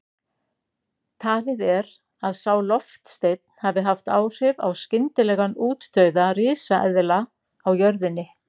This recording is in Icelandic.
Talið er að sá loftsteinn hafi haft áhrif á skyndilegan útdauða risaeðla á jörðinni.